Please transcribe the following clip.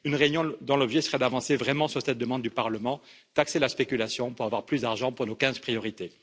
Une réunion dont l'objet serait d'avancer vraiment sur cette demande du Parlement taxer la spéculation pour avoir plus d'argent pour nos quinze priorités.